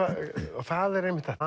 og það er einmitt þetta